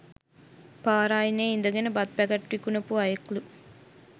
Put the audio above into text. පාර අයිනෙ ඉඳගෙන බත් පැකට් විකුනපු අයෙක්ලු